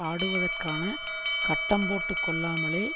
ஆடுவதற்கான கட்டம் போட்டு கொள்ளாமலே